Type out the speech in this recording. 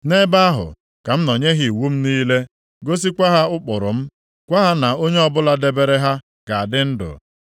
Nʼebe ahụ ka m nọ nye ha iwu m niile, gosikwa ha ụkpụrụ m, gwa ha na onye ọbụla debere ha ga-adị ndụ.